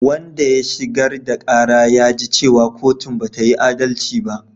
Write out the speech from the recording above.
Wanda ya shigar da ƙara ya ji cewa kotun bata yi adalci ba